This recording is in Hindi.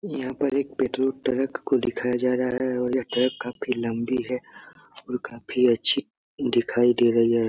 यहाँ पर एक पेट्रोल ट्रक को दिखाया जा रहा है और ये ट्रैक काफी लम्बी है और काफी अच्छी दिखाई दे रही है।